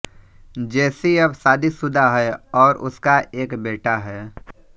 जेसी अब शादीसुदा है और उसका एक बेटा है